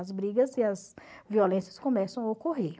As brigas e as violências começam a ocorrer.